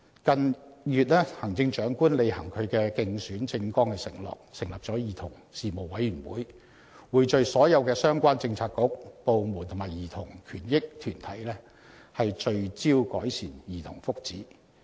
近月行政長官履行其競選政綱作出的承諾，成立了兒童事務委員會，匯聚所有相關政策局、部門及兒童權益團體致力改善兒童福祉。